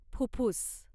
फुफ्फुस